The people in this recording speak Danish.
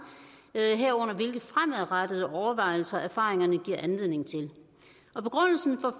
herunder hvilke fremadrettede overvejelser erfaringerne giver anledning til begrundelsen